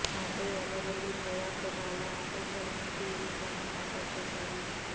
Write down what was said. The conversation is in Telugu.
మంత్రి ఎర్రబెల్లి దయాకర్రావు ఆదేశాల మేరకు ఈ విభాగం ఏర్పాటు చేశారు